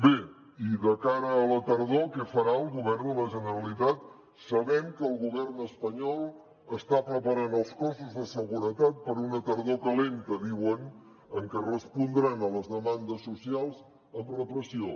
bé i de cara a la tardor què farà el govern de la generalitat sabem que el govern espanyol està preparant els cossos de seguretat per a una tardor calenta diuen en què respondran a les demandes socials amb repressió